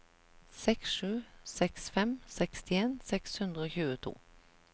seks sju seks fem sekstien seks hundre og tjueto